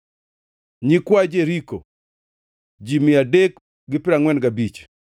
nyikwa Jeriko, ji mia adek gi piero angʼwen gabich (345),